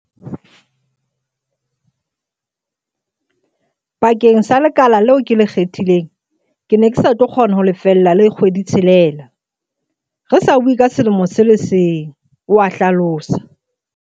"Bakeng sa le kala leo ke le kgethileng, ke ne ke sa tlo kgona ho lefella le kgwedi-tshelela, re sa bue ka selemo se le seng," o a hlalosa.